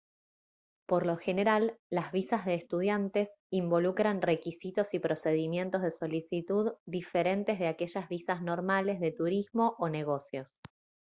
por lo general las visas de estudiantes involucran requisitos y procedimientos de solicitud diferentes de aquellas visas normales de turismo o negocios